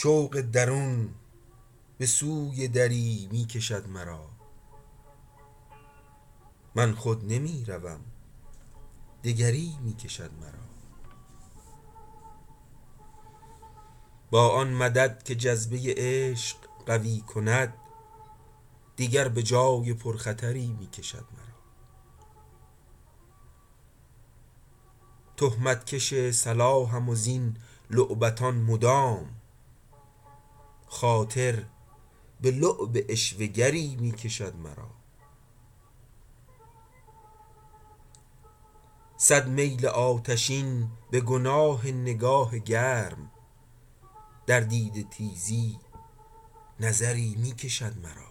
شوق درون بسوی دری می کشد مرا من خود نمیروم دگری میکشد مرا با آن مدد که جذبه عشق قوی کند دیگر بجای پر خطری میکشد مرا تهمت کش صلاحم وزین لعبتان مدام خاطر بلعب عشوه گری میکشد مرا صد میل آتشین بگناه نگاه گرم در دیده تیزی نظری میکشد مرا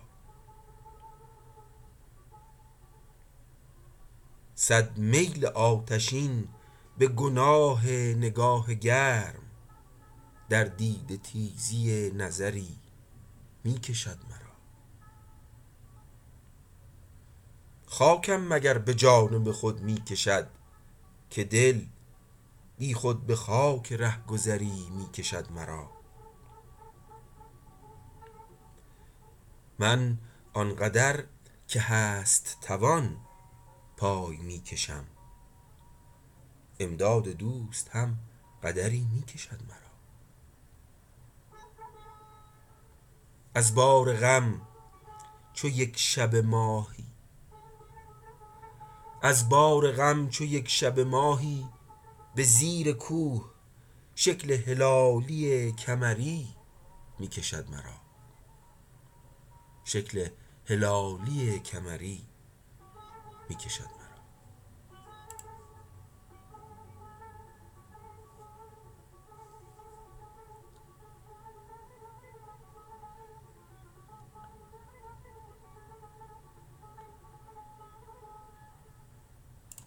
خاکم مگر بجانب خود میکشد که دل بیخود بخاک رهگذری میکشد مرا من آنقدر که هست توان پای میکشم امداد دوست هم قدری میکشد مرا از بار غم چو یکشبه ماهی بزیر کوه شکل هلالی کمری میکشد مرا